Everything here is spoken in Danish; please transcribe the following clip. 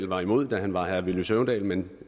var imod da han var herre villy søvndal men